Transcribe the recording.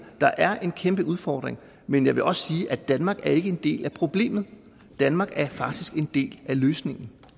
der er en kæmpe udfordring men jeg vil også sige at danmark ikke er en del af problemet danmark er faktisk en del af løsningen